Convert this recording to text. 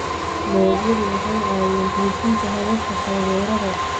Dalagyadu waxay caawiyaan xoojinta hababka taageerada.